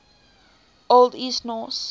old east norse